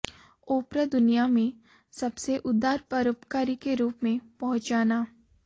ओपरा दुनिया में सबसे उदार परोपकारी के रूप में पहचाना